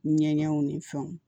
Ɲɛgɛnw ni fɛnw